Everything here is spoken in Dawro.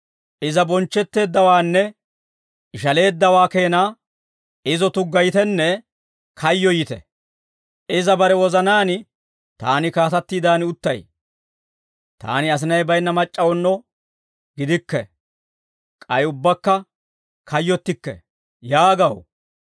Iza bonchchetteeddawaanne, ishaleeddawaa keenaa, izo tuggayitenne kayyoyite. Iza bare wozanaan, ‹Taani kaatattiidan uttay; taani asinay baynna mac'c'awuno gidikke; k'ay ubbaakka kayyottikke› yaagaw.